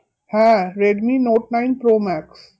হ্যাঁ, Redmi Note nine Pro max